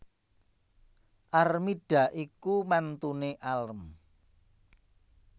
Armida iku mantune alm